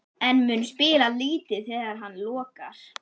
En mun spila lítið þegar hann lokar?